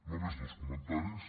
només dos comentaris